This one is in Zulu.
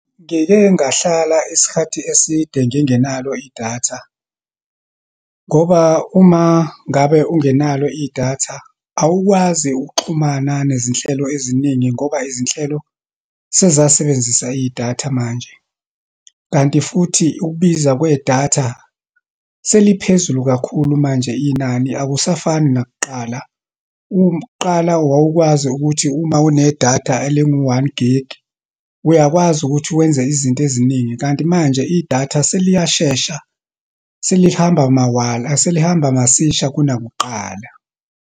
Ngike ngahlala isikhathi eside ngingenalo idatha. Ngoba uma ngabe ungenalo idatha, awukwazi ukuxhumana nezinhlelo eziningi ngoba izinhlelo sezasebenzisa idatha manje. Kanti futhi, ukubiza kwedatha, seliphezulu kakhulu manje inani, akusafani nakuqala. Kuqala wawukwazi ukuthi uma unedatha elingu-one gig, uyakwazi ukuthi wenze izinto eziningi. Kanti manje idatha seliyashesha, selihamba mawala, selihamba masisha kunakuqala.